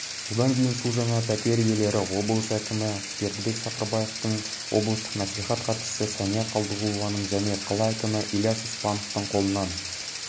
содан кейін су жаңа пәтер иелері облыс әкімі бердәібек сапарбаевтың облыстық мәслихат хатшысы сәния қалдығұлованың және қала әкімі ильяс испановтың қолынан